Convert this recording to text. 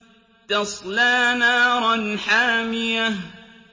تَصْلَىٰ نَارًا حَامِيَةً